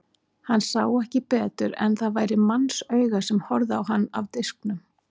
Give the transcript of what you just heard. Hann sá ekki betur en að það væri mannsauga sem horfði á hann af disknum.